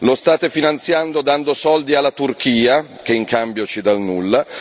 lo state finanziando dando soldi alla Turchia, che in cambio ci dà il nulla